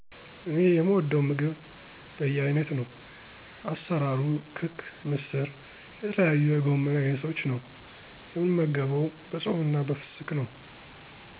እኔ የምወደው ምግብ በየአይነት ነው። አሰራርሩ ክክ ምስር የተለያዩ የጎመን አይነቶች ነው። የምንመገበው በፆምና በፍስክ ነው።